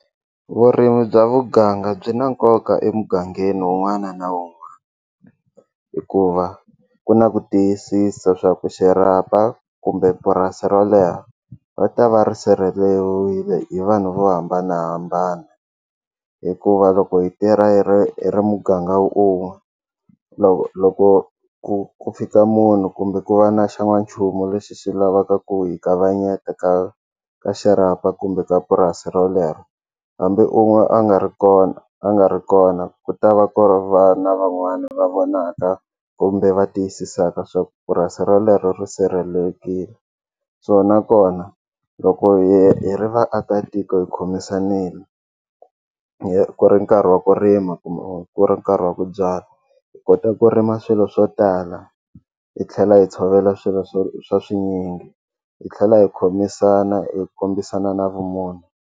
Vurimi bya muganga byi na nkoka emugangeni wun'wana na wun'wana hikuva ku na ku tiyisisa swa ku xirhapa kumbe purasi rolero va ta va ri sirheleriwile hi vanhu vo hambanahambana hikuva loko hi tirha hi ri hi ri muganga wun'we loko ku ku fika munhu kumbe ku va na xa n'wanchumu lexi xi lavaka ku hi kavanyeta ka ka xirhapa kumbe ka purasi rolero hambi u n'we a nga ri kona a nga ri kona ku ta va ku ri vana van'wana va vonaka kumbe va tiyisisaka swa ku purasi rolero ri sirhelelekile so nakona loko hi ri vaakatiko hi khomisanile hi ku ri nkarhi wa ku rima kumbe ku ri nkarhi wa ku byala hi kota ku rima swilo swo tala hi tlhela hi tshovela swilo swo swa swinyingi hi tlhela hi khomisana hi kombisana na vumunhu.